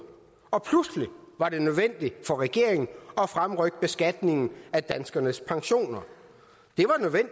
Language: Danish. og pludselig var det nødvendigt for regeringen at fremrykke beskatningen af danskernes pensioner